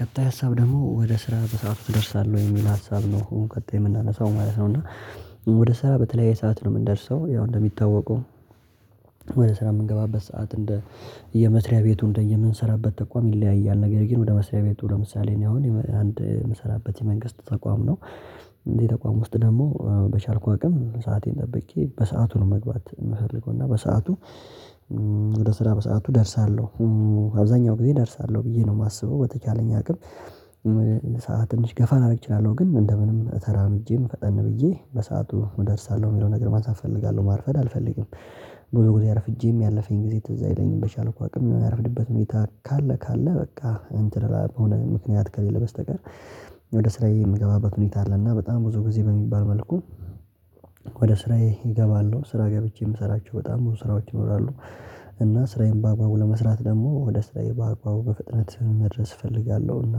ቀጣይ ሀሳብ ደግሞ ወደ ስራ በሰአቱ ትደርሳለሁ ወይ የሚል ሀሳብ ነው ቀጣይ የምናነሳው ማለት ነው። እና ወደ ስራ በተለያየ ሰዓት ነው የምንደርሰው ያው እንደሚታወቀው ወደ ስራ የምንገባበት ሰዓት እንደየ መስሪያ ቤቱ እንደየምንሰራበት ተቋም ይለያያል ነገር ግን ወደ መስሪያ ቤቱ ለምሳሌ ነው አሁን አንድ የምሰራበት የመንግስት ተቋም ነው። እንዴ ተቋም ውስጥ ደግሞ በቻልኩ አቅም ሰአቴን ጠብቄ በሰአቱ ነው መግባት የምፈልገው እና በሰአቱ ወደ ስራ በሰአቱ እደርሳለሁ። አብዛኛው ጊዜ እደርሳለሁ ብዬ ነው የማስበው በተቻለኝ አቅም ሰዓት ትንሽ ገፋ ላደርግ እችላለሁ ግን እንደ ምንም ተራምጄም ፈጠን ብዬ በሰአቱ እደርሳለሁ የሚለው ነገር ማንሳት እፈልጋለሁ ማርፈድ አልፈልግም። በጉዞ አረፍጄም ያለፈኝ ጊዜ ትዝ አይለኝም በቻልኩ አቅም የሚያረፍድበት ሁኔታ ካለ ካለ በቃ እንትን ለሆነ ምክንያት ከሌለ በስተቀር ወደ ስራዬ የምገባበት ሁኔታ አለ። እና በጣም ብዙ ጊዜ በሚባል መልኩ ወደ ስራዬ ይገባሉ ስራ ገብቼ የምሰራቸው በጣም ስራዎች ይኖራሉ። እና ስራዬን በአግባቡ ለመስራት ደግሞ ወደ ስራዬ በአግባቡ በፍጥነት መድረስ እፈልጋለሁና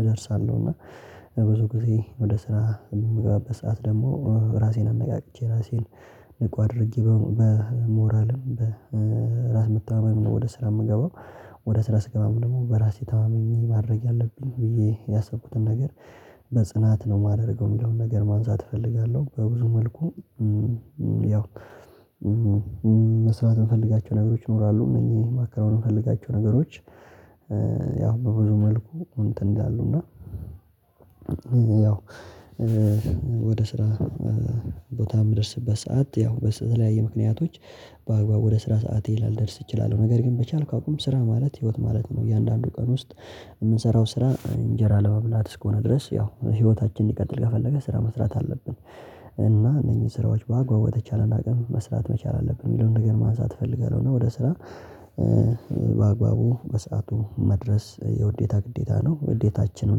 እደርሳለሁና ብዙ ጊዜ ወደ ስራ የምገባበት ሰዓት ደግሞ ራሴን አነቃቅቼ ራሴን ንቁ አድርጌ በሞራልም በራስ መታማመም ነው ወደ ስራ የምገባው። ወደ ስራ ስገባም ደግሞ በራሴ ተማምኜ ማድረግ አለብኝ ብዬ ያሰብኩትን ነገር በጽናት ነው የማደርገው የሚለውን ነገር ማንሳት እፈልጋለሁ በብዙ መልኩ። ያው መስራት የምፈልጋቸው ነገሮች ይኖራሉ እነዚህ ማከናወን የምፈልጋቸው ነገሮች ያው በብዙ መልኩ እንትን ይላሉ እና ያው ወደ ስራ ቦታ የምደርስበት ሰዓት ያው በተለያየ ምክንያቶች በአግባቡ ወደ ስራ ሰዓቴ ላልደርስ እችላለሁ ነገር ግን በቻልኩ አቁም ስራ ማለት ህይወት ማለት ነው። እያንዳንዱ ቀን ውስጥ የምንሰራው ስራ እንጀራ ለመብላት እስከሆነ ድረስ ያው ህይወታችንን ሊቀጥል ከፈለገ ስራ መስራት አለብን። እና እነኚህን ስራዎች በአግባብ በተቻለን አቅም መስራት መቻል አለብን የሚለውን ነገር ማንሳት እፈልጋለሁ እና ወደ ስራ በአግባቡ በሰአቱ መድረስ የውዴታ ግዴታ ነው ውዴታችንም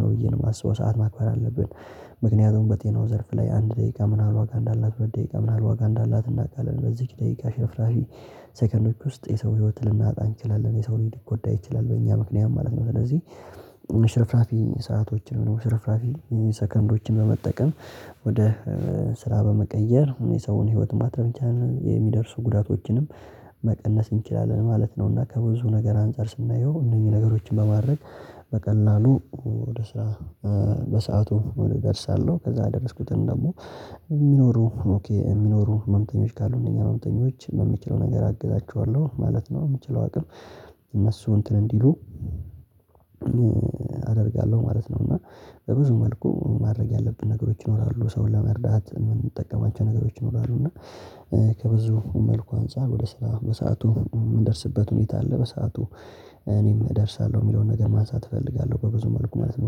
ነው ብዬ ነው የማስበው ሰዓት ማክበር አለብን። ምክንያቱም በጤናው ዘርፍ ላይ አንድ ደቂቃ ምን ያህል ዋጋ እንዳላት ደቂቃ ምን ያህል ዋጋ እንዳላት እናውቃለን በዚህች ደቂቃ ሽፍራፊ ሰከንዶች ውስጥ የሰው ህይወት ልናጣ እንችላለን የሰው ልጅ ሊጎዳ ይችላል በእኛ ምክንያት ማለት ነው። ስለዚህ ሽርፍራፊ ሰአቶችን ሽርፍራፊ ሰከንዶችን በመጠቀም ወደ ስራ በመቀየር የሰውን ህይወት ማትረፍ ይቻላል የሚደርሱ ጉዳቶችንም መቀለስ እንችላለን ማለት ነው። እና ከብዙ ነገር አንፃር ስናየው እነኚህ ነገሮችን በማድረግ በቀላሉ ወደ ስራ በሰአቱ እደርሳለሁ ከዛ የደረስኩትን ደግሞ የሚኖሩ የሚኖሩ ህመምተኞች ካሉ እነዚህ መምተኞች በምችለው ነገር አግዛቸዋለሁ ማለት ነው። በምችለው አቅም እነሱ እንትን እንዲሉ አደርጋለሁ ማለት ነው እና በብዙ መልኩ ማድረግ ያለብን ነገሮች ይኖራሉ ሰውን ለመርዳት የምንጠቀማቸው ነገሮች ይኖራሉ እና ከብዙ መልኩ አንፃር ወደ ስራ በሰአቱ የምንደርስበት ሁኔታ አለ በሰአቱ እኔም እደርሳለሁ የሚለውን ነገር ማንሳት እፈልጋለሁ በብዙ መልኩ ማለት ነው።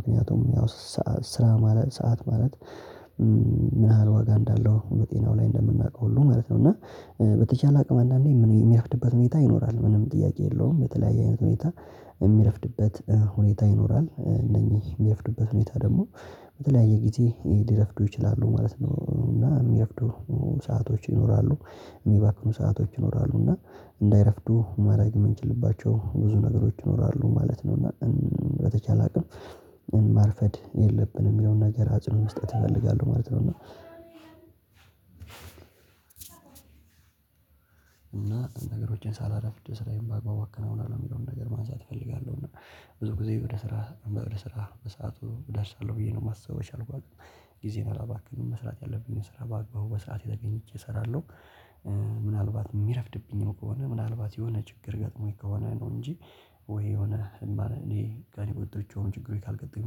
ምክንያቱም ያው ሰዓት ስራ ማለት ሰዓት ማለት ምን ያህል ዋጋ እንዳለው ጤናው ላይ እንደምናውቀው ሁሉ ማለት ነው። እና በተቻለ አቅም አንዳንዴ የሚረፍድበት ሁኔታ ይኖራል ምንም ጥያቄ የለውም በተለያየ አይነት ሁኔታ የሚረፍድበት ሁኔታ ይኖራል እነዚህ የሚረፍድበት ሁኔታ ደግሞ በተለያየ ጊዜ ሊረፍዱ ይችላሉ ማለት ነው። እና የሚረፍዱ ሰአቶች ይኖራሉ የሚባክኑ ሰአቶች ይኖራሉ እና እንዳይረፍዱ ማድረግ የምንችልባቸው ብዙ ነገሮች ይኖራሉ ማለት ነው። እና በተቻለ አላውቅም ማርፈድ የለብንም የሆነ ነገር አጽንኦት መስጠት እፈልጋለሁ ማለት ነው። እና እና ነገሮችን ሳላረፍድ ስራዬን በአግባቡ አከናውናለሁ የሚለውን ነገር ማንሳት እፈልጋለሁ እና ብዙ ጊዜ ወደ ስራ መድረስ ስራ በሰአቱ እደርሳለሁ ብዬ ነው የማስበው ይሻላል። ጊዜን አላባክንም መስራት ያለብኝን ስራ በአግባቡ በስርዓት ተገኘቸ እሰራለሁ። ምናልባት የሚረፍድብኝም ከሆነ ምናልባት የሆነ ችግር ገጥሞኝ ከሆነ ነው እንጂ ወይ የሆነ እንባል እኔ ጋር የማልወጣቸው ችግሮች ካልገጠሙኝ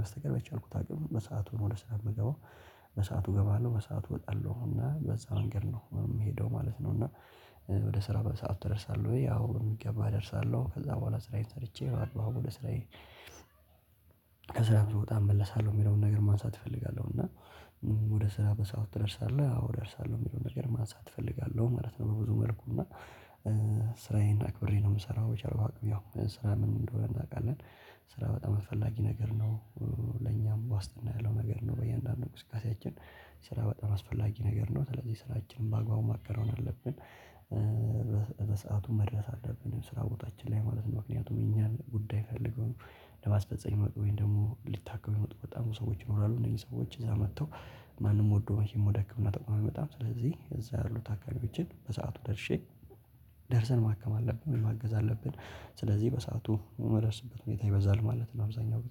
በስተቀር በቻልኩት አቅም በሰአቱን ነው ወደ ስራ የሚገባው በሰአቱ እገባለሁ በሰአቱ እወጣለሁና በዛ መንገድ ነው የምሄደው ማለት ነው። እና ወደ ስራ በሰአቱ እደርሳለሁ ያው በሚገባ እደርሳለሁ ከዛ በኋላ ስራዬን ሰርቼ አግባቡ ወደ ስራዬ ከስራም ስወጣ እመለሳለሁ የሚለውን ነገር ማንሳት እፈልጋለሁ እና ወደ ስራ በሰአት ትደርሳለህ አዎ እደርሳለሁ የሚለውን ነገር ማንሳት እፈልጋለሁ ማለት ነው። በብዙ መልኩ እና ስራዬን አክብሬ ነው የምሰራው በቻልኩት አቅም ያው ስራ ምን እንደሆነ እናውቃለን ስራ በጣም አስፈላጊ ነገር ነው ለኛም ዋስትና ያለው ነገር ነው በእያንዳንዱ እንቅስቃሴያችን ስራ በጣም አስፈላጊ ነገር ነው ስለዚህ ስራችንን በአግባቡ ማከናወን አለብን። በሰአቱ መድረስ አለብን ስራ ቦታችን ላይ ማለት ነው። ምክንያቱም የኛን ጉዳይ ፈልገው ለማስፈፀም የሚመጡ ወይም ደግሞ ሊታከሙ የሚመጡ በጣም ብዙ ሰዎች ይኖራሉ እነዚህ ሰዎች እዛ መጥተው ማንም ወዶ ወደ ህክምና ተቋም አይመጣም። ስለዚህ እዛ ያሉት ታካሚዎችን በሰአቱ ደርሼ ደርሰን ማከም አለብን ማገዝ አለብን ስለዚህ በሰአቱ የምደርስበት ሁኔታ ይበዛል ማለት ነው። አብዛኛው